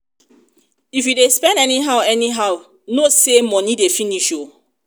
if you dey spend anyhow anyhow know say money dey finish oo